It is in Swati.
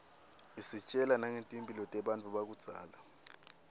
isitjela nangetimphilo tebantfu bakudzala